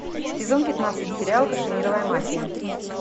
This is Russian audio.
сезон пятнадцать сериал кашемировая мафия